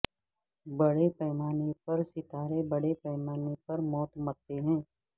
بڑے پیمانے پر ستارے بڑے پیمانے پر موت مرتے ہیں